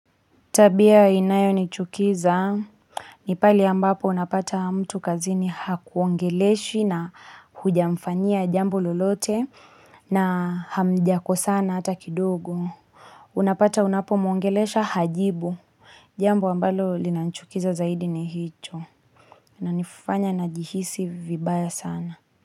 Tabia inayonichukiza ni pale ambapo unapata mtu kazini hakuongeleshi na hujamfanyia jambo lolote na hamjakosana hata kidogo. Unapata unapomwongelesha hajibu jambo ambalo linanichukiza zaidi ni hicho inanifanya najihisi vibaya sana.